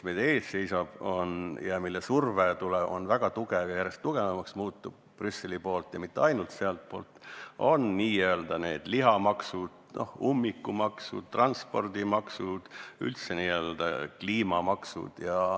Aga meil seisab ees väga tugev ja järjest tugevamaks muutuv Brüsseli ja mitte ainult Brüsseli surve: n-ö lihamaksud, ummikumaksud, transpordimaksud, üldse igasugused kliimamaksud.